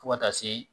Fo ka taa se